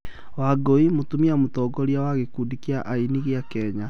wangũi: mũtumia mũtongoria wa gikundi kia aini gia Kenya